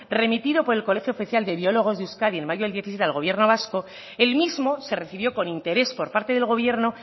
remitido por el colegio oficial de biólogos de euskadi en mayo del diecisiete al gobierno vasco el mismo se recibió con interés por parte del gobierno